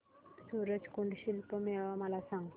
सूरज कुंड शिल्प मेळावा मला सांग